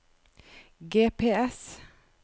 GPS